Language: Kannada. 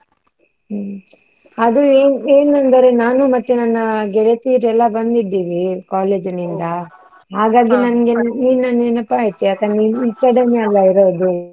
ಹ್ಮ್. ಅದು ಏನ್~ ಏನಂದರೆ ನಾನು ಮತ್ತೆ ನನ್ನ ಗೆಳತಿಯರೆಲ್ಲಾ ಬಂದಿದ್ದೀವಿ college ನೀನ್ ನಂಗೆ ನೆನಪ್ ಆಯ್ತ್. ಯಾಕಂದ್ರೆ ನೀನ್ ಈಕಡೆನೇ ಆಲಾ ಇರೋದು.